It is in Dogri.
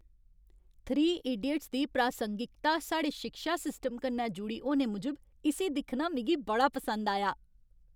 थ्री इडियट्स' दी प्रासंगिकता साढ़े शिक्षा सिस्टम कन्नै जुड़ी होने मूजब इस्सी दिक्खना मिगी बड़ा पसंद आया।